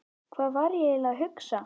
Hvað var ég eiginlega að hugsa?